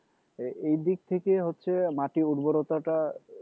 এইদিক থেকে হচ্ছে মাটি উর্বরতাটা